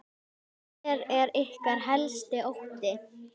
Hver er ykkar helsti ótti?